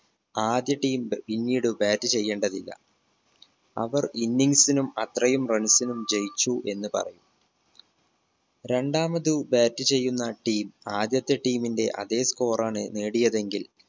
ആദ്യ team പിന്നീട് bat ചെയ്യേണ്ടതില്ല അവർ innings നും അത്രയും runs നും ജയിച്ചു എന്ന് പറയും രണ്ടാമത് bat ചെയ്യുന്ന team ആദ്യത്തെ team ന്റെ അതേ score ആണ് നേടിയതെങ്കിൽ